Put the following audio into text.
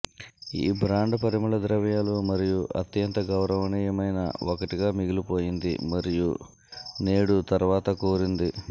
ఈ బ్రాండ్ పరిమళ ద్రవ్యాలు మరియు అత్యంత గౌరవనీయమైన ఒకటిగా మిగిలిపోయింది మరియు నేడు తర్వాత కోరింది